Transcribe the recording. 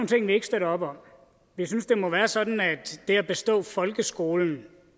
ting vi ikke støtter op om vi synes det må være sådan at det at bestå folkeskolen